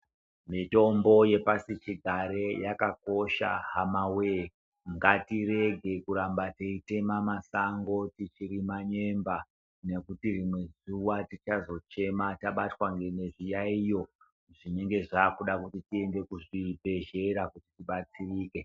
Mitombo yepashi chigare yakakosha hamawoye ngatirege kuramba tichitema masango tichirima nyemba nekuti rimwe zuwa tichazochema tabatwa nezviyaiyo zvinenge zvabuda tiende kuzvibhedhlera kuti tibatsirike.